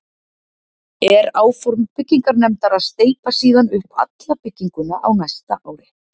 Er áform byggingarnefndar að steypa síðan upp alla bygginguna á næsta ári.